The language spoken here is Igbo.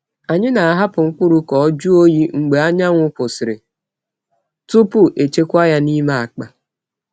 Anyị na-ahapụ mkpụrụ ka o jụọ oyi mgbe anyanwụ kwụsịrị tupu echekwaa ya n’ime akpa.